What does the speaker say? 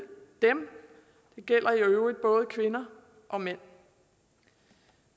dem det gælder i øvrigt både kvinder og mænd